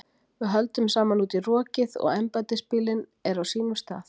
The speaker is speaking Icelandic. Við höldum saman út í rokið og embættisbíllinn er á sínum stað.